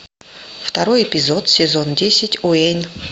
второй эпизод сезон десять уэйн